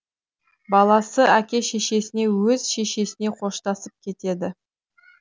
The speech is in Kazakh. баласы әке шешесіне өз шешесіне қоштасып кетеді